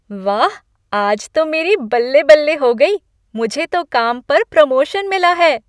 वाह, आज तो मेरी बल्ले बल्ले हो गई, मुझे तो काम पर प्रमोशन मिला है।